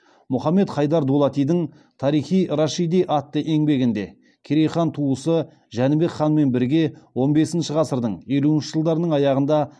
мұхаммед хайдар дулатидың тарих и рашиди атты еңбегінде керей хан туысы жәнібек ханмен бірге он бесінші ғасырдың елуінші жылдарының аяғында